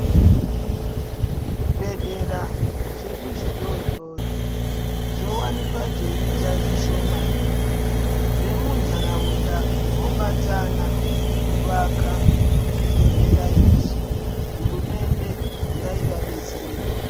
Zvibhehlera zvedu zvidodori zvowanikwa zveiite zvishomani. Vemuntaraunda vobatana kuvaka zvibhehlera izvi. Hurumende ngaivadetserewo.